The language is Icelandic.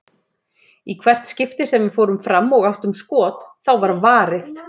Í hvert skipti sem við fórum fram og áttum skot, þá var varið.